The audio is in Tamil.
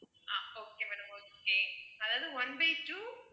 ஆஹ் okay madam okay அதாவது one by two